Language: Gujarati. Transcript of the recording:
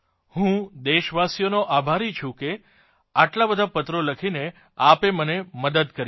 હું દેશવાસીઓનો આભારી છું કે આટલા બધા પત્રો લખીને આપે મને મદદ કરી છે